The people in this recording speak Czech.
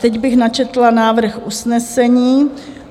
Teď bych načetla návrh usnesení: